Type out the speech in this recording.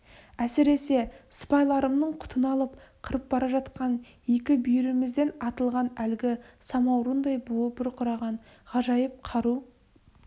әсіресе сыпайларымның құтын алып қырып бара жатқан екі бүйірімізден атылған әлгі самаурындай буы бұрқыраған ғажайып қару